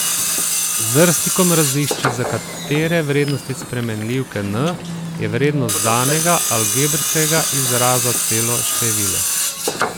Z drsnikom razišči, za katere vrednosti spremenljivke n je vrednost danega algebrskega izraza celo število.